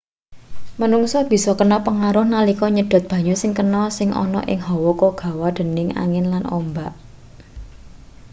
menungsa bisa kena pengaruh nalika nyedot banyu sing kena sing ana ing hawa kegawa dening angin lan ombak